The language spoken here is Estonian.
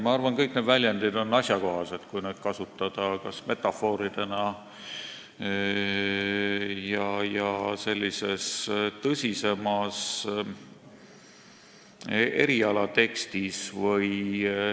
Ma arvan, et need on kõik asjakohased, kui neid kasutada näiteks metafooridena ja tõsisemas erialatekstis.